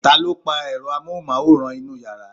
taló pa èro amóhùnmáwòrán inú yàrá?